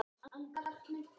Því miður, segir Andri Þór.